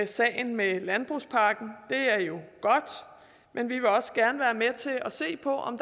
sagen med landbrugspakken det er jo godt men vi vil også gerne være med til at se på om